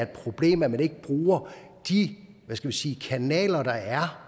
problem at man ikke bruger de hvad skal man sige kanaler der er